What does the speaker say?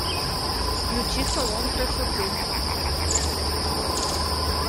включи салон красоты